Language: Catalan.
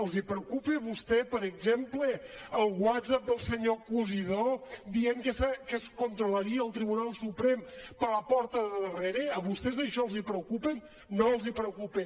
els preocupa a vostès per exemple el whatsapp del senyor cosidó dient que es controlaria el tribunal suprem per la porta de darrere a vostès això els preocupa no els preocupa